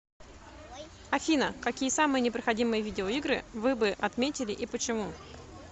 афина какие самые непроходимые видеоигры вы бы отметили и почему